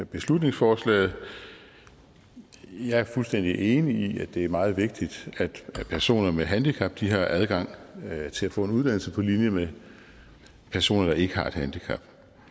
beslutningsforslaget jeg er fuldstændig enig i at det er meget vigtigt at personer med handicap har adgang til at få en uddannelse på linje med personer der ikke har et handicap